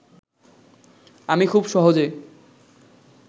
আমি খুব সহজে